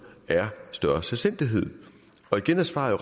er større selvstændighed og igen er svaret